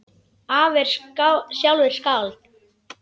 Afi er sjálfur skáld.